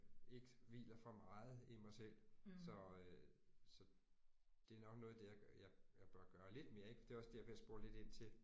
Ik hviler for meget i mig selv så øh så det er nok noget af det jeg jeg bør gøre lidt mere ik for det er også det jeg bliver spurgt lidt ind til